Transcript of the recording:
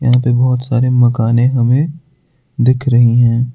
यहां पे बहोत सारे मकाने हमे दिख रही हैं।